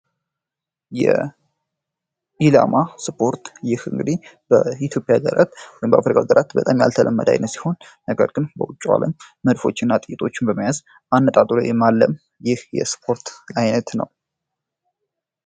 የኢላማ ስፖርት ይህ እንግዲህ በኢትዮጵያ እና በአፍሪካ ሀገራት ያልተለመደ ሲሆን ነገር ግን በውጩ ዓለም ጥይቶችን በመያዝ አልሞ የመምታት ስፖርት አይነት ነው።